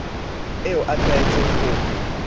eo a tlwaetseng ho e